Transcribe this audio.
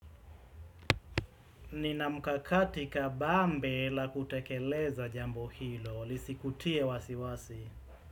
Nina mkakati kabambe la kutekeleza jambo hilo, lisikutie wasi wasi.